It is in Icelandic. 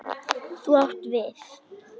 Þú átt við.